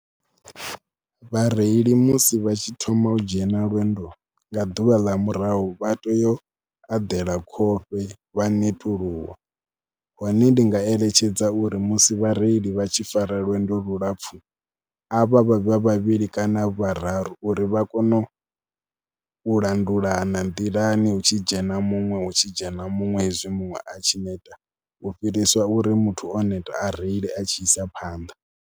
Vhareili musi vha tshi thoma u dzhena lwendo nga ḓuvha ḽa murahu vha teyo u eḓela khofhe vha netuluwa. Hone ndi nga eletshedza uri musi vhareili vha tshi fara lwendo lulapfhu a vha vhe vhavhili kana vhararu uri vha kone u langulana nḓilani, hu tshi dzhena muṅwe hu tshi dzhena muṅwe hezwi muṅwe a tshi neta u fhiriswa uri muthu o neta a reile a tshi isa phanḓa.